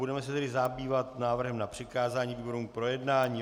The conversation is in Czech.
Budeme se tedy zabývat návrhem na přikázání výborům k projednání.